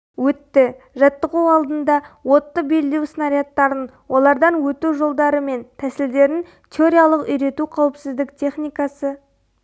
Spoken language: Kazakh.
өтті жаттығу алдында отты белдеу снарядтарын олардан өту жолдары мен тәсілдерін теориялық үйрету қауіпсіздік техникасы